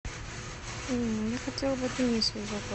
я хотела бы отменить свой заказ